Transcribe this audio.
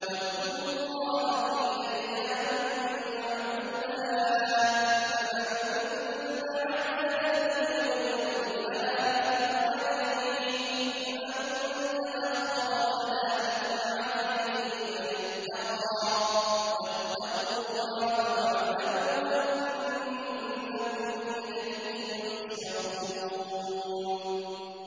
۞ وَاذْكُرُوا اللَّهَ فِي أَيَّامٍ مَّعْدُودَاتٍ ۚ فَمَن تَعَجَّلَ فِي يَوْمَيْنِ فَلَا إِثْمَ عَلَيْهِ وَمَن تَأَخَّرَ فَلَا إِثْمَ عَلَيْهِ ۚ لِمَنِ اتَّقَىٰ ۗ وَاتَّقُوا اللَّهَ وَاعْلَمُوا أَنَّكُمْ إِلَيْهِ تُحْشَرُونَ